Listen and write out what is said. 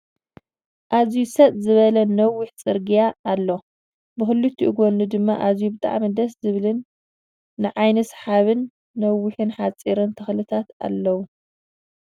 ኣዝዩ ሰጥ ዝበላ ነዊሕ ፅርግያ ኣሎ ብክልቲኡ ጎኑ ድማ ኣዝዩ ብጣዕሚ ደስ ዝሃልን ንዓይኒ ስሓቢን ነዋሕቲን ሓፀርትን ተክልታት ኣለው ።